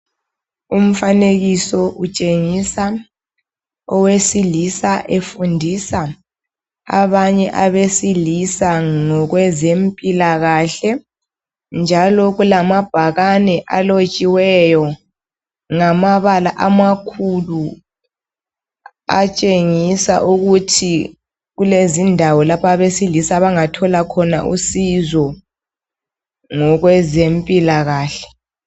Umfanekiso utshengisa owesilisa efundisa abanye abesilisa ngokwezempilakahle. Njalo kulamabhakane alotshiweyo ngamabala amakhulu atshengisa ukuthi kulezindawo lapho abesilisa abangathola khona usizo ngokwezempilakahle.